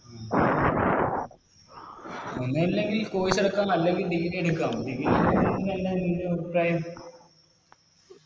ഒന്നല്ലെങ്കിൽ Course എടുക്കാം അല്ലെങ്കിൽ Degree എടുക്കാം Degree നിൻറെ അഭിപ്രായം